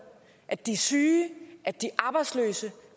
at de syge at de arbejdsløse